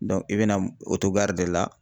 Dɔ i bɛna de la